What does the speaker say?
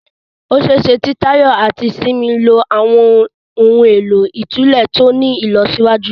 Ó ṣe é ṣe kí Tayo àti Simi lo àwọn ohun èlò ìtúlẹ̀ tó ní ìlọsíwájú